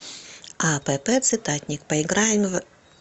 апп цитатник поиграем в